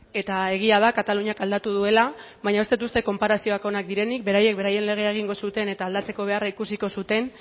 eta egia da kataluniak aldatu duela baina ez dut uste konparazioak onak direnik beraiek beraien legea egingo zuten eta aldatzeko beharra ikusiko zuten